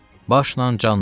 Başla canla.